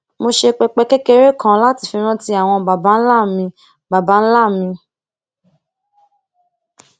mo ṣe pẹpẹ kékeré kan láti fi rántí àwọn baba ńlá mi baba ńlá mi